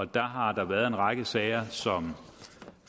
der har været en række sager som